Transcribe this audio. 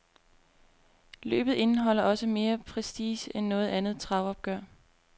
Løbet indeholder også mere prestige end noget andet travopgør.